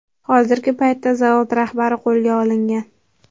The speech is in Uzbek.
Hozirgi paytda zavod rahbari qo‘lga olingan.